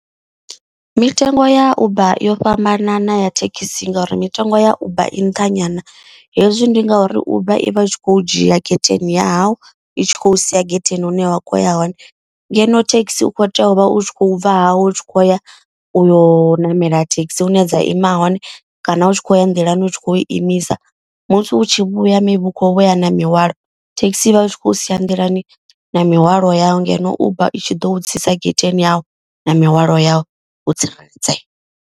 Mitengo ya uber yo fhambanana ya thekhisi ngauri mitengo ya uber i nṱha nyana. Hezwi ndi ngauri uber i vha i tshi khou dzhia getheni yau i tshi khou sia getheni hune wa kho ya hone. Ngeno thekhisi u kho tea u vha u tshi khou bva hai u tshi khou ya u yo namela thekhisi hune dza ima hone. Kana u tshi khou ya nḓilani u tshi khou imisa musi u tshi vhuya maybe ukho vhu ya na mihwalo thekhisi i vha u tshi khou sia nḓilani na mihwalo yau. Ngeno uber i tshi ḓo u tsitsa getheni yau na mihwalo yau wo tsireledzea.